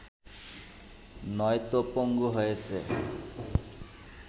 নয়তো পঙ্গু হয়েছে